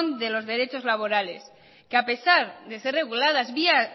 de los derechos laborales que a pesar de ser reguladas vía